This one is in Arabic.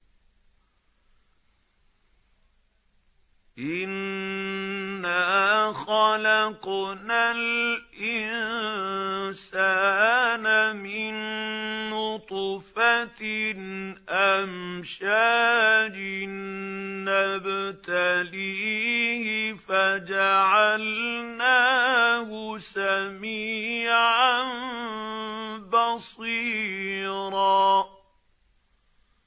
إِنَّا خَلَقْنَا الْإِنسَانَ مِن نُّطْفَةٍ أَمْشَاجٍ نَّبْتَلِيهِ فَجَعَلْنَاهُ سَمِيعًا بَصِيرًا